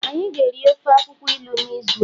anyi ga eri ofe akwukwo ilu n'izu a